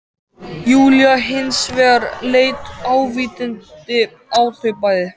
Júlía hins vegar leit ávítandi á þau bæði